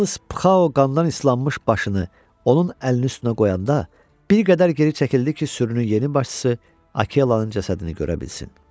Yalnız Pxao qandan islanmış başını onun əlini üstünə qoyanda bir qədər geri çəkildi ki, sürünün yeni başçısı Akelanın cəsədini görə bilsin.